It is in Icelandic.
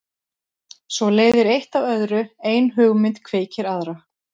Svo leiðir eitt af öðru, ein hugmynd kveikir aðra.